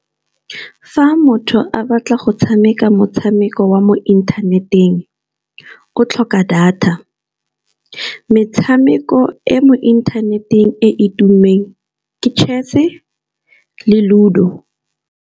Fa motho a batla go tshameka motshameko wa mo inthaneteng, o tlhoka data. Metshameko e mo inthaneteng e tummeng ke chess-e le ludo.